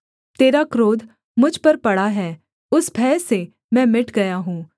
तेरा क्रोध मुझ पर पड़ा है उस भय से मैं मिट गया हूँ